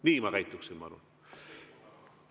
Nii ma käituksin, ma arvan.